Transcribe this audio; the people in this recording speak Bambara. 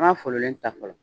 N ma fololen ta fɔlɔ